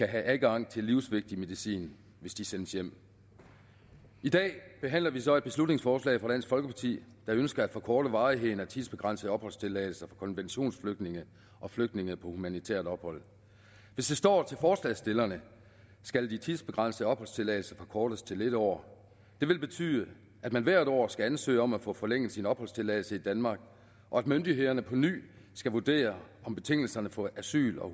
adgang til livsvigtig medicin hvis de sendes hjem i dag behandler vi så et beslutningsforslag fra dansk folkeparti der ønsker at forkorte varigheden af tidsbegrænsede opholdstilladelser for konventionsflygtninge og flygtninge på humanitært ophold hvis det står til forslagsstillerne skal de tidsbegrænsede opholdstilladelser forkortes til en år det vil betyde at man hvert år skal ansøge om at få forlænget sin opholdstilladelse i danmark og at myndighederne på ny skal vurdere om betingelserne for asyl og